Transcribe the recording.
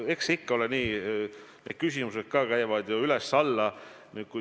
Noh, eks ikka ole nii, et küsimused käivad üles-alla.